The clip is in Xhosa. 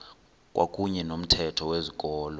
kwakuyne nomthetho wezikolo